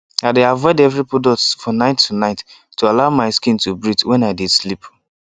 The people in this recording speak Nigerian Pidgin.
i dey avoid heavy products for night to night to allow my skin to breathe when i dey sleep